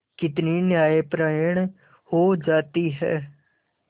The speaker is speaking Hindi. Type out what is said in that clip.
कितनी न्यायपरायण हो जाती है